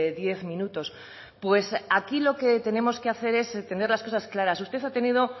diez minutos pues aquí lo que tenemos que hacer es tener las cosas claras usted ha tenido